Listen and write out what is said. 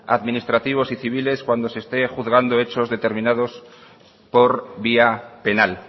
administrativos y civiles cuando se esté juzgando hechos determinados por vía penal